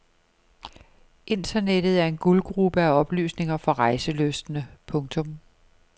Internettet er en guldgrube af oplysninger for rejselystne. punktum